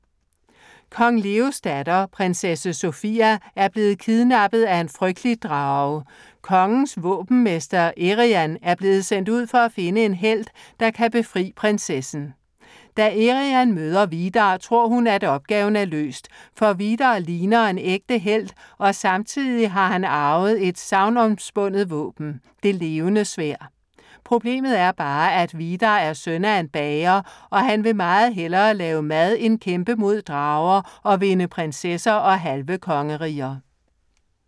Kong Leos datter, Prinsesse Sofia, er blevet kidnappet af en frygtelig drage. Kongens våbenmester Eriann er blevet sendt ud for at finde en helt, der kan befri prinsessen. Da Eriann møder Vidar, tror hun, at opgaven er løst, for Vidar ligner en ægte helt og samtidig har han arvet et sagnomspundet våben, Det Levende Sværd. Problemet er bare, at Vidar er søn af en bager og han vil meget hellere lave mad end kæmpe mod drager og vinde prinsesser og halve kongeriger.